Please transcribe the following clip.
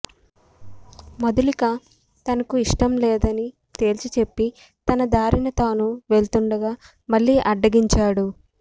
మధులిక తనకు ఇష్టంలేదని తేల్చిచెప్పి తన దారిన తాను వెళుతుండగా మళ్లీ అడ్డగించాడు